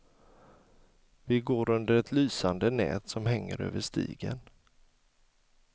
Vi går under ett lysande nät som hänger över stigen.